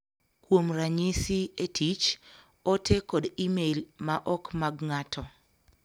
Kuom ranyisi, e tich, ote kod e-mail ma ok mag ng�ato